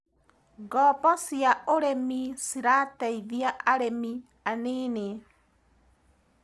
Ngobo cia ũrĩmi cĩrateithia arĩmi anini.